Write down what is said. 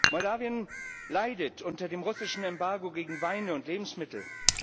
Moldau leidet unter dem russischen Embargo gegen Weine und Lebensmittel.